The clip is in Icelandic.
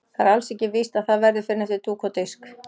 Það er alls ekkert víst að það verði fyrr en eftir dúk og disk.